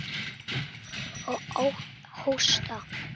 Og hósta.